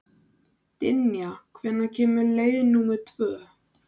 Dynja, hvenær kemur leið númer tvö?